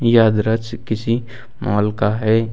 यह दृश्य किसी माल का है।